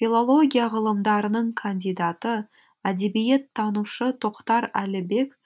филология ғылымдарының кандидаты әдебиеттанушы тоқтар әлібек